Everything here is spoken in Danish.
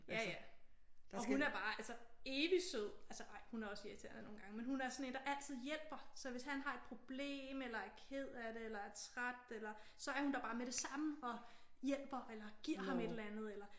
Ja ja. Og hun er bare altså evigt sød. Altså ej hun er også irriterende nogle gange men hun er sådan en der altid hjælper. Så hvis han har et problem eller er ked af det eller er træt eller så er hun der bare med det samme og hjælper eller giver ham et eller andet eller